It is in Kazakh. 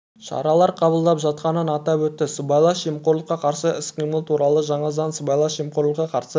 шаралар қабылдап жатқанын атап өтті сыбайлас жемқорлыққа қарсы іс-қимыл туралы жаңа заң сыбайлас жемқорлыққа қарсы